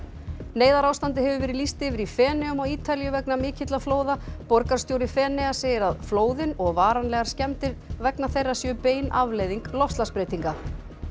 neyðarástandi hefur verið lýst yfir í Feneyjum á Ítalíu vegna mikilla flóða borgarstjóri Feneyja segir að flóðin og varanlegar skemmdir vegna þeirra séu bein afleiðing loftslagsbreytinga